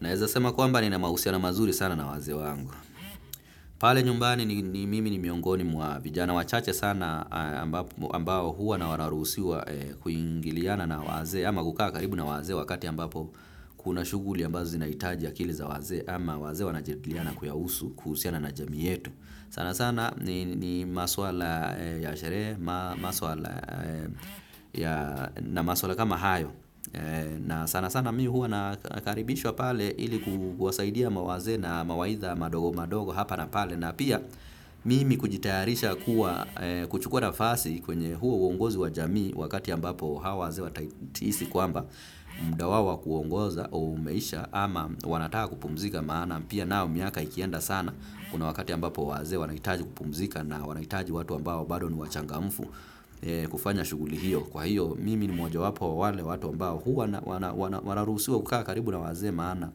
Naeza sema kwamba nina mahusiani mazuri sana na wazee wangu. Pale nyumbani ni mimi ni miongoni mwa vijana wachache sana ambao huwa na wanaruhusiwa kuingiliana na wazee. Ama kukaa karibu na wazee wakati ambapo kuna shughuli ambazo zinahitaji akili za wazee. Ama wazee wanajadiliana kuyahusu kuhusiana na jamii yetu. Sana sana ni maswala ya sherehe na maswala kama hayo. Na sana sana mi huwa nakaribishwa pale ili kuwasaidia mawazee na mawaidha madogo madogo hapa na pale. Na pia mimi kujitayarisha kuwa kuchukuwa nafasi kwenye huo uongozi wa jamii wakati ambapo hawa wazee watahisi kwamba muda wao wa kuongoza umeisha ama wanataka kupumzika maana pia nao miaka ikienda sana kuna wakati ambapo wazee wanahitaji kupumzika na wanahitaji watu ambao bado ni wachangamfu kufanya shughuli hiyo. Kwa hiyo mimi ni mojawapo wa wale watu ambao huwa wanaruhusiwa kukaa karibu na wazee maana.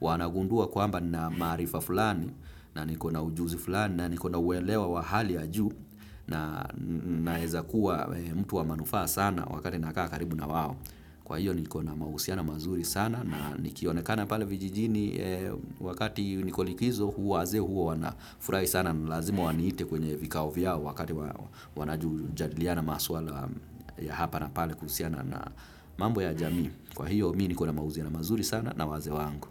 Wanagundua kwamba nina maarifa fulani na niko na ujuzi fulani na niko na uelewa wa hali ya juu na naeza kuwa mtu wa manufaa sana wakati nakaa karibu na wao. Kwa hiyo niko na mahusiana mazuri sana na nikionekana pale vijijini wakati niko likizo huwa wazee huwa wanafurahi sana. Na ni lazima waniite kwenye vikao vyao wakati wanajadiliana maswala ya hapa na pale kuhusiana na mambo ya jamii. Kwa hiyo, mi niko na mahusiano mazuri sana na wazee wangu.